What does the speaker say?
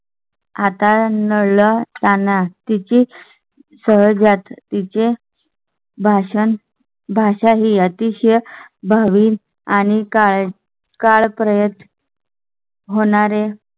आता नाळ ला जाणा, तिची सहज भाषण भाषा ही अतिशय भावी आणि काळपर्यंत? होणारे.